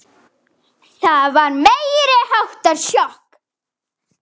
Það var meiriháttar sjokk.